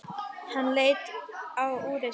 Hann leit á úrið sitt.